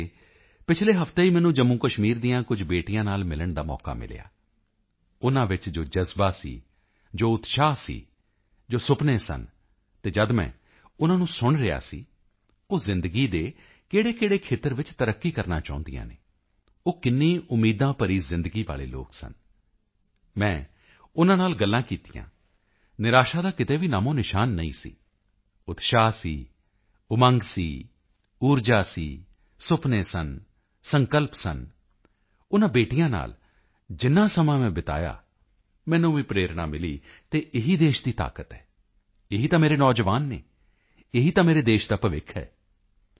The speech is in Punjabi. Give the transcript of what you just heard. ਅਜੇ ਪਿਛਲੇ ਹਫਤੇ ਹੀ ਮੈਨੂੰ ਜੰਮੂਕਸ਼ਮੀਰ ਦੀਆਂ ਕੁਝ ਬੇਟੀਆਂ ਨਾਲ ਮਿਲਣ ਦਾ ਮੌਕਾ ਮਿਲਿਆ ਉਨ੍ਹਾਂ ਵਿੱਚ ਜੋ ਜਜ਼ਬਾ ਸੀ ਜੋ ਉਤਸ਼ਾਹ ਸੀ ਜੋ ਸੁਪਨੇ ਸਨ ਅਤੇ ਜਦ ਮੈਂ ਉਨ੍ਹਾਂ ਨੂੰ ਸੁਣ ਰਿਹਾ ਸੀ ਉਹ ਜ਼ਿੰਦਗੀ ਦੇ ਕਿਹੜੇਕਿਹੜੇ ਖੇਤਰ ਵਿੱਚ ਤਰੱਕੀ ਕਰਨਾ ਚਾਹੁੰਦੀਆਂ ਹਨ ਉਹ ਕਿੰਨੀ ਉਮੀਦਾਂ ਭਰੀ ਜ਼ਿੰਦਗੀ ਵਾਲੇ ਲੋਕ ਸਨ ਮੈਂ ਉਨ੍ਹਾਂ ਨਾਲ ਗੱਲਾਂ ਕੀਤੀਆਂ ਨਿਰਾਸ਼ਾ ਦਾ ਕਿਤੇ ਵੀ ਨਾਮੋਨਿਸ਼ਾਨ ਨਹੀਂ ਸੀ ਉਤਸ਼ਾਹ ਸੀ ਉਮੰਗ ਸੀ ਊਰਜਾ ਸੀ ਸੁਪਨੇ ਸਨ ਸੰਕਲਪ ਸਨ ਉਨ੍ਹਾਂ ਬੇਟੀਆਂ ਨਾਲ ਜਿੰਨਾ ਸਮਾਂ ਮੈਂ ਬੀਤਾਇਆ ਮੈਨੂੰ ਵੀ ਪ੍ਰੇਰਣਾ ਮਿਲੀ ਅਤੇ ਇਹੀ ਦੇਸ਼ ਦੀ ਤਾਕਤ ਹੈ ਇਹੀ ਤਾਂ ਮੇਰੇ ਨੌਜਵਾਨ ਹਨ ਇਹੀ ਤਾਂ ਮੇਰੇ ਦੇਸ਼ ਦਾ ਭਵਿੱਖ ਹੈ